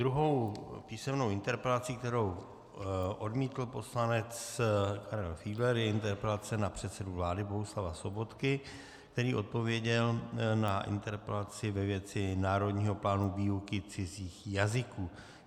Druhou písemnou interpelací, kterou odmítl poslanec Karel Fiedler, je interpelace na předsedu vlády Bohuslava Sobotku, který odpověděl na interpelaci ve věci národního plánu výuky cizích jazyků.